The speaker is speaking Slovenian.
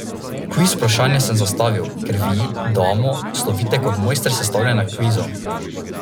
Kviz vprašanje sem zastavil, ker vi, Damo, slovite kot mojster sestavljanja kvizov.